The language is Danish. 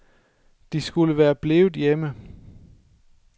De skulle være blevet hjemme.